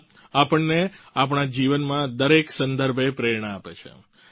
ગીતા આપણને આપણા જીવનમાં દરેક સંદર્ભે પ્રેરણા આપે છે